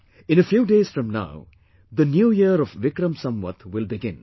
In a few days from now, the new year of Vikram Samvat will begin